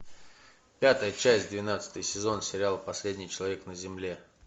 пятая часть двенадцатый сезон сериал последний человек на земле